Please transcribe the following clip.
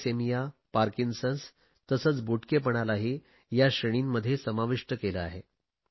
thalassemia Parkinson's तसेच खुजेपणालाही या श्रेणींमध्ये समाविष्ट केले आहे